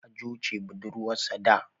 Hajo ce budurwarsa da.